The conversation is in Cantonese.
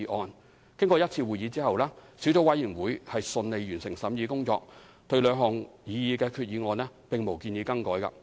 小組委員會舉行一次會議，順利完成審議工作，對兩項擬議決議案並無建議更改。